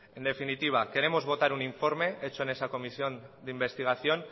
en definitiva queremos votar un informe hecho en esa comisión de investigación